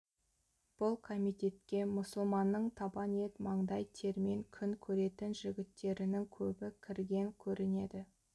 бұл комитетке мұсылманның табан ет маңдай термен күн көретін жігіттерінің көбі кірген көрінеді